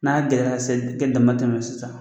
N'a gɛlɛyara k'a se te damatɛmɛ sisan